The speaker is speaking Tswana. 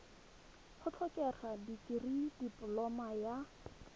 go tlhokega dikirii dipoloma ya